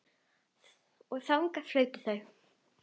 Og þangað fluttu þau.